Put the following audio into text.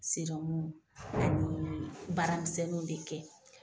serɔmu anii baara misɛnninw de kɛ.